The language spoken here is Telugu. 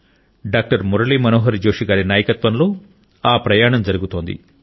డాక్టర్ మురళి మనోహర్ జోషి గారి నాయకత్వంలో ఆ ప్రయాణం జరుగుతోంది